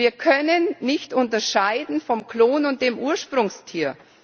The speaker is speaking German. Wir können nicht unterscheiden zwischen dem Klon und dem Ursprungstier.